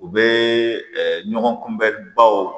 U bɛ ɲɔgɔn kunbɛnnibaw